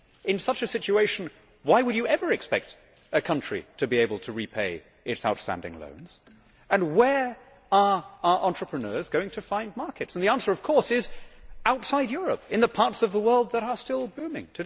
In such a situation, why would you ever expect a country to be able to repay its outstanding loans and where are our entrepreneurs going to find markets? The answer, of course, is outside Europe, in the parts of the world that are still booming.